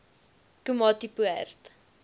komatipoort